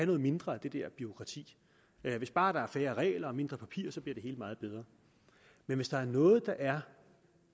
noget mindre af det der bureaukrati hvis bare der er færre regler og mindre papir bliver det hele meget bedre men hvis der er noget der er